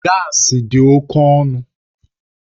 Gaasi dị oke ọnụ